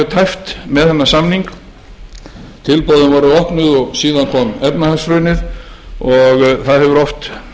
tæpt með þennan samning tilboðin voru opnuð og síðan kom efnahagshrunið og það hefur oft